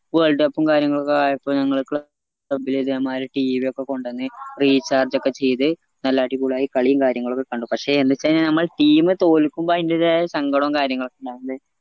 world cup ഉം കാര്യങ്ങളും ഒക്കെ ആയപ്പോ ഞങ്ങള് ക്ല club ല് ഇതേമാരി tv ഒക്കെ കൊണ്ടന്ന് recharge ഒക്കെ ചെയ്ത് നല്ല അടിപൊളിയായി കളിയും കാര്യങ്ങളും ഒക്കെ കണ്ടു പക്ഷേ എന്തെച്ചഴിഞ്ഞ നമ്മള് team തോൽക്കുമ്പോൾ അയിന്റെതായ സങ്കടോം കാര്യങ്ങളൊക്കെ ഇണ്ടാവില്ലേ